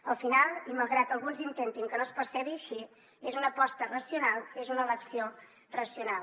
al final i malgrat que alguns intentin que no es percebi així és una aposta racional és una elecció racional